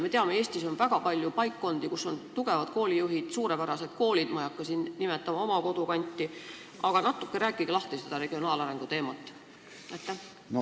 Me teame, et Eestis on väga palju paikkondi, kus on tugevad koolijuhid ja suurepärased koolid – ma ei hakka siin nimetama oma kodukanti –, aga palun rääkige regionaalarengu teemat veidi lahti!